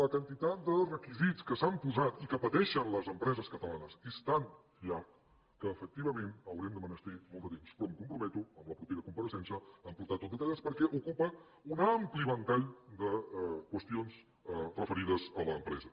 la quantitat de requisits que s’han posat i que pateixen les empreses catalanes és tan llarg que efectivament haurem de menester molt de temps però em comprometo en la propera compareixença a portar ho tot detallat perquè ocupa un ampli ventall de qüestions referides a l’empresa